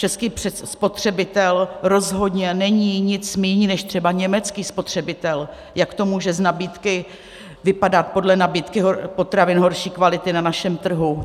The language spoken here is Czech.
Český spotřebitel rozhodně není nic míň než třeba německý spotřebitel, jak to může z nabídky vypadat, podle nabídky potravin horší kvality na našem trhu.